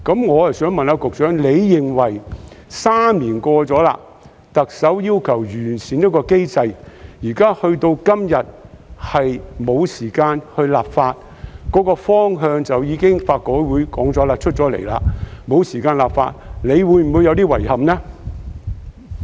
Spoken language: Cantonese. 我想問局長，特首3年前要求完善保護兒童機制，時至今日，法改會已經提出方向，但沒有時間立法，局長會否感到有點遺憾呢？